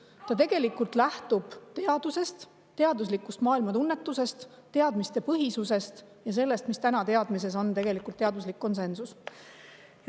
See tegelikult lähtub teadusest, teaduslikust maailmatunnetusest, teadmistepõhisusest ja sellest teadmisest, milles täna on teaduslik konsensus.